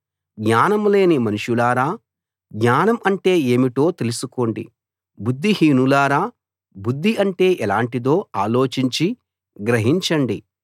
జ్ఞానం లేని మనుషులారా జ్ఞానం అంటే ఏమిటో తెలుసుకోండి బుద్ధిహీనులారా బుద్ధి అంటే ఎలాంటిదో ఆలోచించి గ్రహించండి